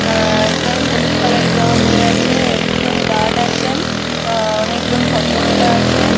আ একজন হলুদ কালার -এর জামা পরে আছে। একজন গার্ড আছেন। আ অনেকজন ভদ্রমহিলা আছে।